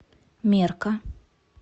мерка